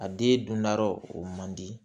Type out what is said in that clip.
A den dundayɔrɔ o man di